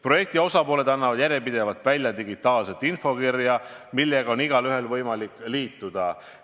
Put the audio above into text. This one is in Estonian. Projekti osapooled annavad järjepidevalt välja digitaalset infokirja, millega on kõigil võimalik liituda.